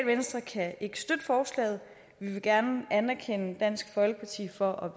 venstre kan ikke støtte forslaget vi vil gerne anerkende dansk folkeparti for at